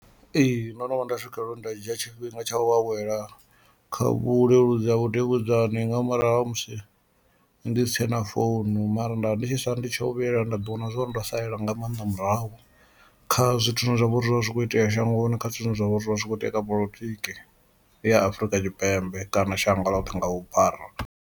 Ee, ndono vhuya nda swikelela uri nda dzhia tshifhinga tsha u awela kha vhuleludzi ha vhudavhudzani nga murahu ha musi ndi si tshena founu mara nda ndi tshi swa ndi tsho u vhuyelela nda ndi vhona zwo uri ndo salela nga maanḓa murahu, kha zwithu zwine zwa vha uri zwo vha zwi kho itea shangoni kha zwithu zwine zwa vha uri zwi vha zwi kho itea kha polotiki ya Afrika Tshipembe kana shango ḽoṱhe nga vhuphara.